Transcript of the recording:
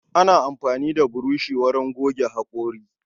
Ana amfani da burushi wurin goge hakori.